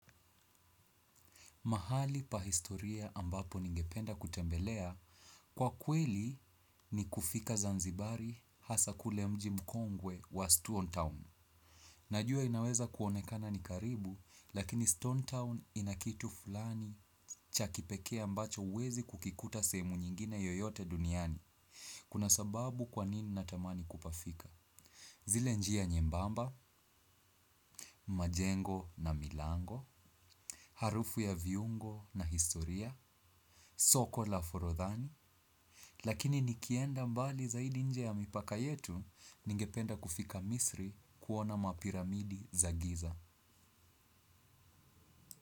Mahali pa historia ambapo ningependa kutembelea kwakweli ni kufika Zanzibar hasa ule mji mkongwe wa stone town. Najua inaweza kuonekana ni karibu lakini Stone Town inakitu fulani cha kipeke a mbacho huwezi kukikuta sehemu nyingine yoyote duniani. Kuna sababu kwanini natamani kupafika? Zile njia nyembamba, majengo na milango, harufu ya viungo na historia, soko la furodhani, lakini nikienda mbali zaidi nje ya mipaka yetu ningependa kufika misri kuona mapira midi za giza.